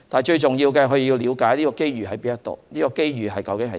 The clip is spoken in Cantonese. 最重要是了解機遇何在，以及這機遇究竟為何。